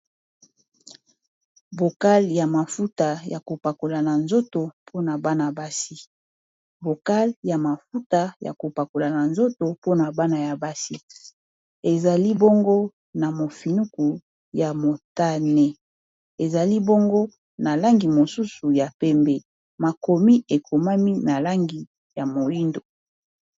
bokale ya mafuta ya kopakola na nzoto mpona bana ya basi ezali bongo na mofinuku ya motane ezali bongo na langi mosusu ya pembe makomi ekomami na langi ya moindo